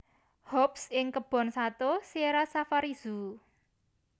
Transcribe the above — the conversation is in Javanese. Hobbs ing Kebon Sato Sierra Safari Zoo